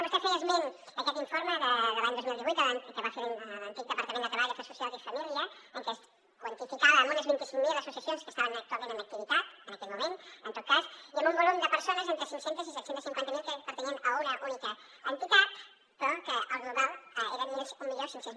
vostè feia esment d’aquest informe de l’any dos mil divuit que va fer l’antic departament de treball afers socials i famílies que quantificava en unes vint cinc mil associacions les que estaven en activitat en aquell moment en tot cas i en un volum de persones entre cinc cents miler i set cents i cinquanta miler que pertanyien a una única entitat però el global eren mil cinc cents